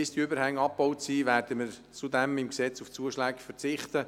Bis die Übergänge abgebaut sind, werden wir zudem im Gesetz auf Zuschläge verzichten.